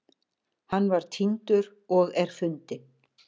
Hann var týndur og er fundinn